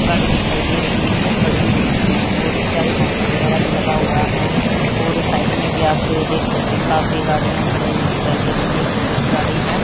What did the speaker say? गाड़ी दिखाई दे रही हैं जो खड़ी हुई हैं और इसके आगे बंपर वगैरा भी लगा हुआ है और साइड में भी आप तो देख सकते हैं काफी गाड़ियां खड़ी हुई दिखाई दे रही हैं एक टूरिस्ट गाड़ी है।